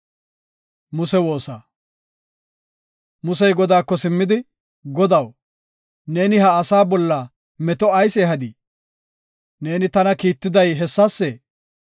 Musey Godaako simmidi, “Godaw, neeni ha asaa bolla meto ayis ehadii? Neeni tana kiittiday hessasee?